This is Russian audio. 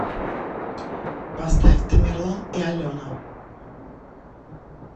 поставь тамерлан и алена